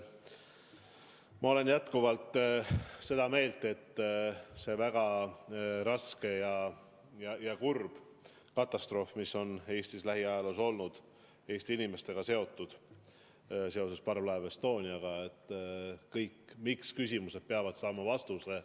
Ma olen jätkuvalt seda meelt, et see väga raske katastroof, mis on Eestis lähiajaloos olnud ja Eesti inimestega seotud seoses parvlaev Estonia hukuga – kõik miks-küsimused peavad selle puhul saama vastuse.